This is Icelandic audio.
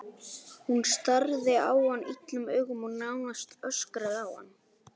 Hún starði á hann illum augum og nánast öskraði á hann.